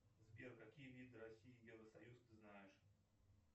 сбер какие виды россии евросоюз ты знаешь